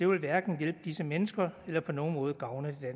vil hverken hjælpe disse mennesker eller på nogen måde gavne det